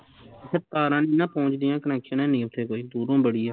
ਇੱਥੇ ਤਾਰਾ ਨੀ ਨਾ ਪਹੁਜ ਦੀਆ connection ਹੈਨੀ ਓਥੇ ਕੋਈ ਦੂਰੋਂ ਬੜੀ ਆ